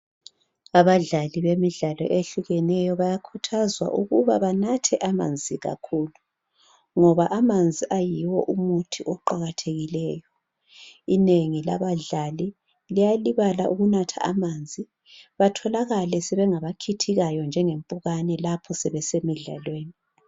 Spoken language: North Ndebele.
Abadlali bemidlalo ehlukeneyo bayakhuthazwa ukuba banathe amanzi kakhulu ngoba amanzi ayiwo umuthi oqakathekileyo inengi labadlali liyalibala ukunatha amanzi batholakale sebengaba khithikayo njengempukane lapho sebesemidlalweni.